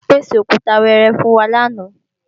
Wọ́n pèsè Òkúta wẹẹrẹ fún wa lánàá